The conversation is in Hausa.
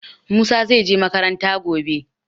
Musa zai je makaranta gobe.